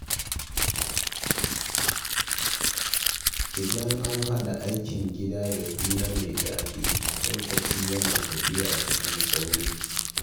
Idan an haɗa aikin gida da hira mai daɗi, lokaci yana tafiya cikin sauri......